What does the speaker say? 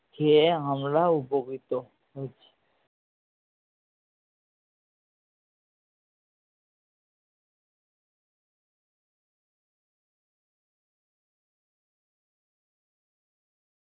খেয়ে আমরা উপকৃত হচ্ছি।